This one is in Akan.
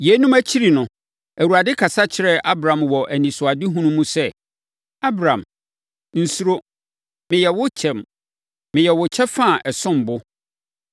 Yeinom akyiri no, Awurade kasa kyerɛɛ Abram wɔ anisoadehunu mu sɛ, “Abram, nsuro. Meyɛ wo kyɛm. Meyɛ wo kyɛfa a ɛsom bo.”